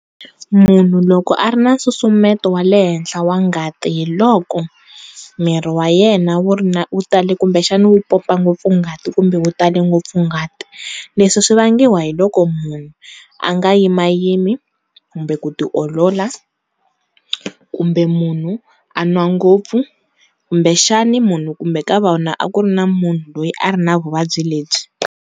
Munhu loko a ri na nsusumeto wa le henhla wa ngati hi loko, miri wa yena wu ri na wu tale kumbexana wu pompa ngopfu ngati kumbe wu tale ngopfu ngati, leswi swivangiwa hi loko munhu a nga yimayimi kumbe ku tiolola kumbe munhu a nwa ngopfu kumbexani munhu kumbe ka vona a ku ri na munhu loyi a ri na vuvabyi lebyi.